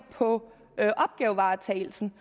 på opgavevaretagelsen